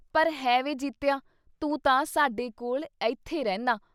“ਪਰ ਹੈਂ ਵੇ ਜੀਤਿਆ ! ਤੂੰ ਤਾਂ ਸਾਡੇ ਕੋਲ਼ ਅਈਥੇ ਰਹਿੰਨਾ।